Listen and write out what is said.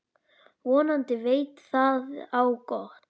Vonandi veit það á gott.